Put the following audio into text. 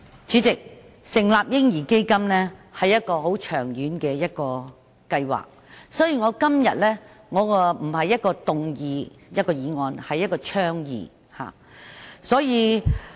主席，成立"嬰兒基金"是一個很長遠的計劃，所以，我今天並不是動議一項議案，而是提出一項倡議。